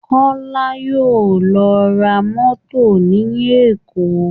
Kọ́lá yóò lọ ra mọ́tò ní Èkó